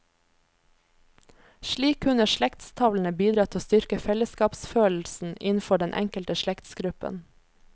Slik kunne slektstavlene bidra til å styrke fellesskapsfølelsen innenfor den enkelte slektsgruppen.